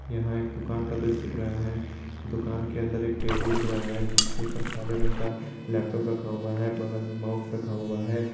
यहां एक दुकान का दृश्य रहा है दुकान के अंदर एक टेबुल दिख रहा है जिसके ऊपर काले रंग का लैपटॉप रखा हुआ है बगल में माउस रखा हुआ है।